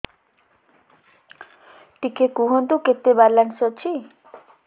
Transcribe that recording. ଟିକେ କୁହନ୍ତୁ କେତେ ବାଲାନ୍ସ ଅଛି